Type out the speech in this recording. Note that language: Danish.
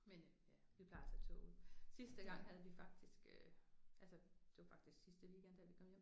Men øh ja vi plejer at tage toget. Sidste gang havde vi faktisk øh altså det var faktisk sidste weekend der vi kom hjem